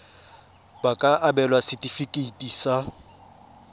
ba ka abelwa setefikeiti sa